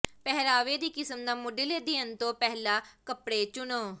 ਪਹਿਰਾਵੇ ਦੀ ਕਿਸਮ ਦਾ ਮੁਢਲੇ ਅਧਿਅਨ ਤੋਂ ਪਹਿਲਾਂ ਕੱਪੜੇ ਚੁਣੋ